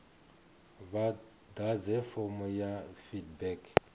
vha ḓadze fomo ya feedback